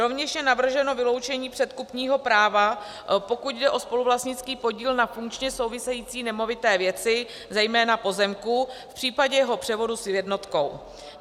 Rovněž je navrženo vyloučení předkupního práva, pokud jde o spoluvlastnický podíl na funkčně související nemovité věci, zejména pozemků, v případě jeho převodu s jednotkou.